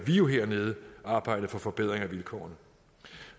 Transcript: jo hernede arbejde for forbedringer af vilkårene